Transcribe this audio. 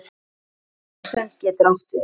Samsemd getur átt við